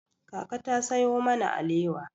Kaka ta sayo mana alewa.